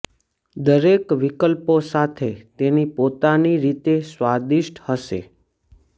દરેક વિકલ્પો સાથે તેની પોતાની રીતે સ્વાદિષ્ટ હશે